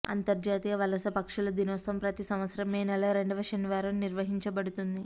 అంతర్జాతీయ వలస పక్షుల దినోత్సవం ప్రతి సంవత్సరం మే నెల రెండవ శనివారం నిర్వహించబడుతుంది